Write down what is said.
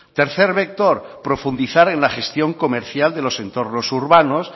tercer vector profundizar en la gestión comercial de los entornos urbanos